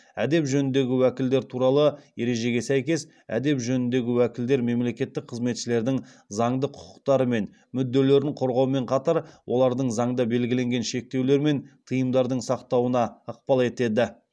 әдеп жөніндегі уәкілдер туралы ережеге сәйкес әдеп жөніндегі уәкілдер мемлекеттік қызметшілердің заңды құқықтары мен мүдделерін қорғаумен қатар олардың заңда белгіленген шектеулер мен тыйымдардың сақтауына ықпал етеді